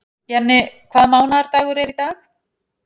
Jenni, hvaða mánaðardagur er í dag?